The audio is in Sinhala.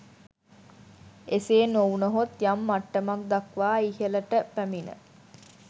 එසේ නොවුවහොත් යම් මට්ටමක් දක්වා ඉහලට පැමිණ